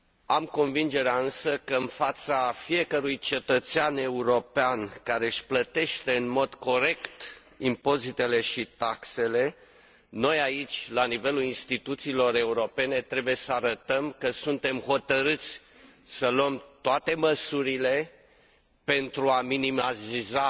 Am convingerea, însă, că în fața fiecărui cetățean european care își plătește în mod corect impozitele și taxele, noi, aici, la nivelul insitituțiilor europene, trebuie să arătăm că suntem hotărâți să luăm toate măsurile pentru a minimaliza